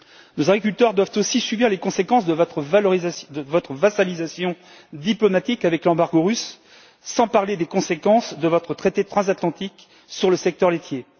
Nos agriculteurs doivent aussi subir les conséquences de votre vassalisation diplomatique avec l'embargo russe, sans parler des conséquences de votre traité transatlantique sur le secteur laitier.